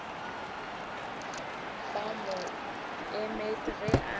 ba mo emet ge a